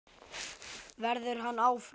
Verður hann áfram?